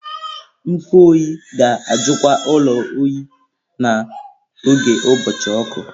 Mfe oyi ga-ajụkwa ụlọ oyi n'oge ụbọchị ọkụ.